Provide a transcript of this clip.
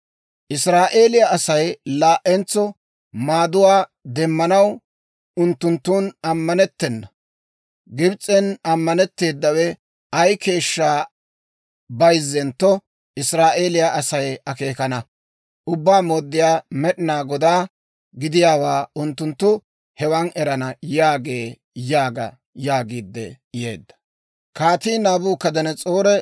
Israa'eeliyaa Asay laa"entso maaduwaa demmanaw unttunttun ammanettena; Gibs'en ammanetteedawe ay keeshshaa bayzzentto Israa'eeliyaa Asay akeekana. Ubbaa Mooddiyaa Med'inaa Godaa gidiyaawaa unttunttu hewan erana» yaagee› yaaga» yaagiidde yeedda.